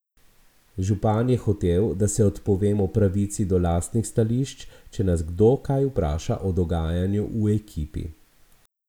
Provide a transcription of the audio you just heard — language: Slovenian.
Župan je hotel, da se odpovemo pravici do lastnih stališč, če nas kdo kaj vpraša o dogajanju v ekipi.